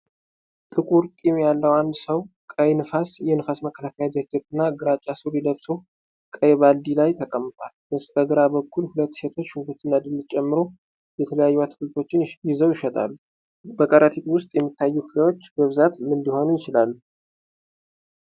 ጥቁር ጢም ያለው አንድ ሰው ቀይ የንፋስ መከላከያ ጃኬትና ግራጫ ሱሪ ለብሶ ቀይ ባልዲ ላይ ተቀምጧል። በስተግራ በኩል ሁለት ሴቶች ሽንኩርትና ድንች ጨምሮ የተለያዩ አትክልቶችን ይዘው ይሸጣሉ፤ በከረጢት ውስጥ የሚታዩት ፍሬዎች በብዛት ምን ሊሆኑ ይችላሉ?